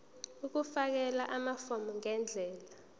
ukufakela amafomu ngendlela